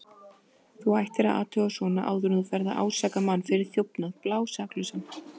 Þú ættir að athuga svona áður en þú ferð að ásaka mann fyrir þjófnað, blásaklausan.